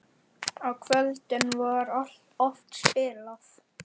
Á kvöldin var oft spilað.